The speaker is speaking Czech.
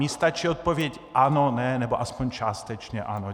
Mně stačí odpověď ano, ne, nebo aspoň částečně ano.